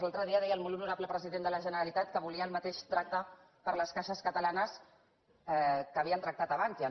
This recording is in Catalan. l’altre dia deia el molt honorable president de la generalitat que volia el mateix tracte per a les caixes catalanes que havien tractat a bankia